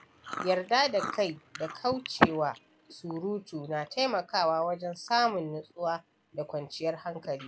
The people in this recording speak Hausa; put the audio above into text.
Yarda da kai da kauce wa surutu na taimakawa wajen samun nutsuwa da kwanciyar hankali.